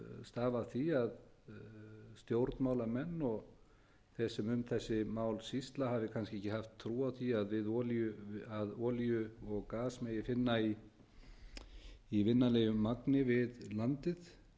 stafa af því að stjórnmálamenn og þeir sem um þessi mál sýsla hafi kannski ekki haft trú á því að olíu og gas megi finna í vinnanlegu magni við landið